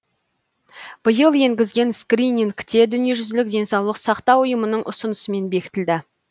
биыл енгізген скрининг те дүниежүзілік денсаулық сақтау ұйымының ұсынысымен бекітілді